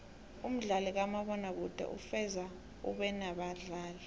umdlalo kamabona kude kufuze ubenabadlali